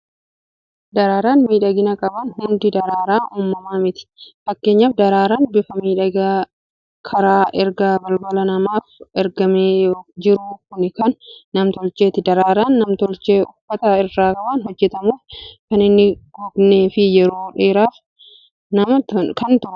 Daraaraan midhagina qaban hundi daraaraa uumamaa miti. Fakkeenyaaf, daraaraan bifa miidhagaa karaa ergaa bilbilaa namaaf ergamee jiru kuni kan nam-tolcheeti. Daraaraan nam-tolchee uffata irra waan hojjetamuuf, kan hin gognee fi yeroo dheeraaf kan turudha.